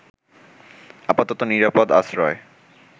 আপাতত নিরাপদ আশ্রয়